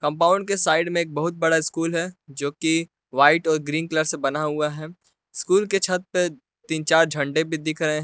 compound के side में एक बहुत बड़ा स्कूल है जोकि व्हाइट और ग्रीन कलर से बना हुआ है स्कूल के छत पे तीन चार झंडा भी दिख रहे --